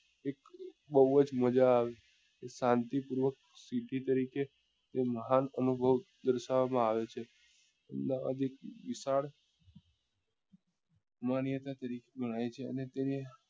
બઉ જ મજા આવે સાંતી પૂર્વક city તરીકે મહાન અનુભવ દર્શાવવા માં આવે છે અમદાવાદ એ વિશાળ માન્યતા તરીકે ગણાય છે